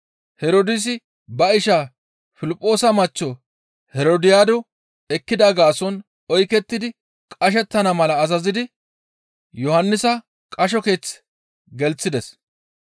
Herdoosi ba isha Piliphoosa machcho Herodiyaado ekkida gaason oykettidi qashettana mala azazidi Yohannisa qasho keeththe gelththides.